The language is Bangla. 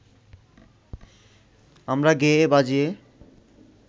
আমরা গেয়ে বাজিয়ে